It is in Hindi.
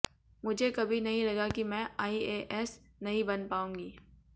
मुझे कभी नहीं लगा कि मैं आईएएस नहीं बन पाऊंगी